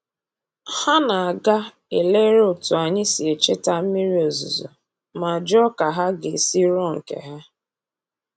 Ha na-aga elere otu anyị si echeta mmiri ozuzu ma jụọ ka ha ga-esi rụọ nke ha